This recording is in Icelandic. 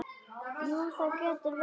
Jú, það getur verið.